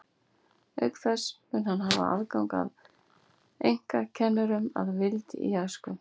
Auk þess mun hann hafa haft aðgang að einkakennurum að vild í æsku.